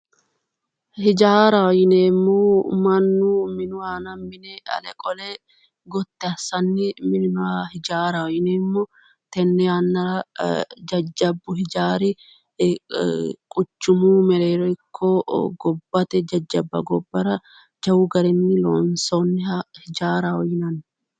Hijaaraho yinneemmohu mannu minu aana mine ale qole gotti assanni minanoha hijaaraho yinneemmo tene yannara jajjabbu hijaari quchumu mereero ikko gobbate jajjabba gobbara jawu garinni loonsonniha hijaaraho yaa